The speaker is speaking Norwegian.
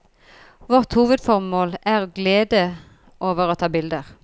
Vårt hovedformål er glede over å ta bilder.